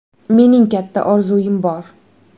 Mening katta orzuim bor.